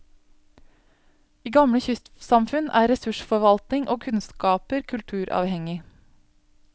I gamle kystsamfunn er ressursforvaltning og kunnskaper kulturavhengig.